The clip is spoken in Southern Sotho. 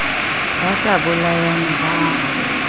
ba sa bolayane ba a